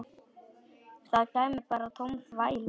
Það kæmi bara tóm þvæla.